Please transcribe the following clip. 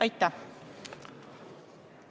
Aitäh!